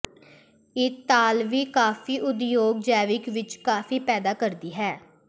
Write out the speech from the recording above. ਇਤਾਲਵੀ ਕਾਫੀ ਉਦਯੋਗ ਜੈਵਿਕ ਵਿੱਚ ਕਾਫੀ ਪੈਦਾ ਕਰਦੀ ਹੈ